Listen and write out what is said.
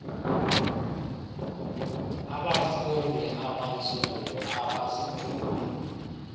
abafuundi abantsundu abazidubi